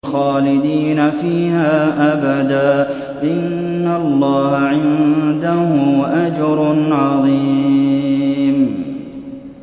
خَالِدِينَ فِيهَا أَبَدًا ۚ إِنَّ اللَّهَ عِندَهُ أَجْرٌ عَظِيمٌ